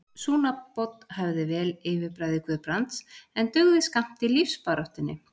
Sú nafnbót hæfði vel yfirbragði Guðbrands, en dugði skammt í lífsbaráttunni.